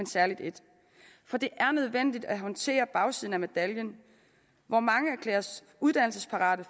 særlig et for det er nødvendigt at håndtere bagsiden af medaljen hvor mange erklæres uddannelsesparate